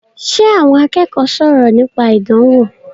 Ṣe àwọn akẹ́kọ̀ọ́ sọ̀rọ̀ nípa ìdánwò?